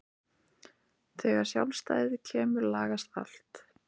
Þegar sjálfstæðið kemur lagast allt.